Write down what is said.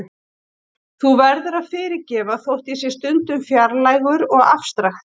Þú verður að fyrirgefa þótt ég sé stundum fjarlægur og afstrakt.